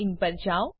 httpwwwirctccoin પર જાવ